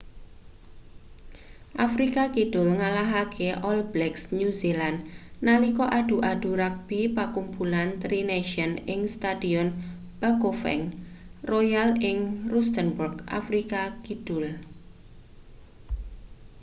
afrika kidul ngalahake all blacks new zealand nalika adu-adu ragbi pakumpulan tri nations ing stadion bafokeng royal ing rustenburg afrika kidul